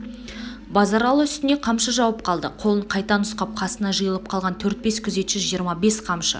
базаралы үстіне қамшы жауып қалды қолын қайта нұсқап қасына жиылып қалған төрт-бес күзетші жиырма бес қамшы